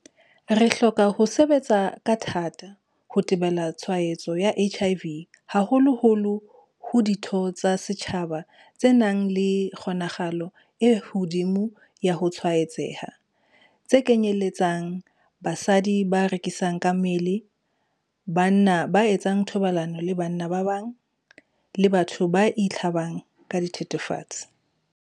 Re hloka ho sebetsa ka thatathata ho thibela tshwaetso ya HIV haholoholo ho ditho tsa setjhaba tse nang le kgonahalo e hodimo ya ho tshwaetseha, tse kenyeletsang basebetsi ba rekisang mmele, banna ba etsang thobalano le banna ba bang, le batho ba itlhabang ka dithethefatsi.